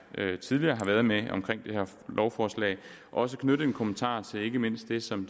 tidligere er kommet med omkring det her lovforslag også knytte en kommentar til ikke mindst det som